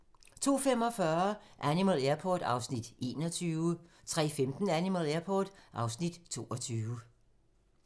02:45: Animal Airport (Afs. 21) 03:15: Animal Airport (Afs. 22)